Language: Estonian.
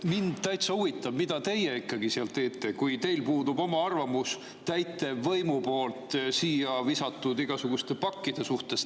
Mind täitsa huvitab, mida teie ikkagi seal teete, kui teil puudub oma arvamus täitevvõimu poolt siia visatud igasuguste pakkide suhtes.